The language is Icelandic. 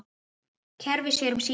Kerfið sér um sína.